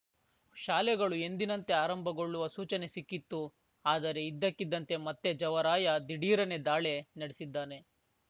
ಶಾಲೆಗಳು ಎಂದಿನಂತೆ ಆರಂಭಗೊಳ್ಳುವ ಸೂಚನೆ ಸಿಕ್ಕಿತ್ತು ಆದರೆ ಇದ್ದಕ್ಕಿದ್ದಂತೆ ಮತ್ತೆ ಜವರಾಯ ದಿಢೀರನೆ ದಾಳಿ ನಡೆಸಿದ್ದಾನೆ